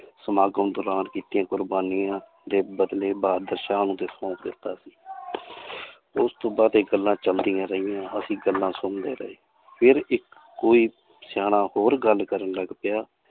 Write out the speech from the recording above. ਸਮਾਗਮ ਦੌਰਾਨ ਕੀਤੀਆਂ ਕੁਰਬਾਨੀਆਂ ਦੇ ਬਦਲੇ ਬਹਾਦਰ ਸ਼ਾਹ ਨੂੰ ਕੀਤਾ ਸੀ ਉਸ ਤੋਂ ਬਾਅਦ ਇਹ ਗੱਲਾਂ ਚੱਲਦੀਆਂ ਰਹੀਆਂ ਅਸੀਂ ਗੱਲਾਂ ਸੁਣਦੇ ਰਹੇ ਫਿਰ ਇੱਕ ਕੋਈ ਸਿਆਣਾ ਹੋਰ ਗੱਲ ਕਰਨ ਲੱਗ ਪਿਆ